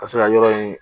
Ka se ka yɔrɔ in